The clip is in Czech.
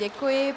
Děkuji.